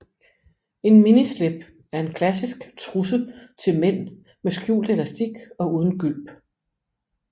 En minislip er en klassisk trusse til mænd med skjult elastik og uden gylp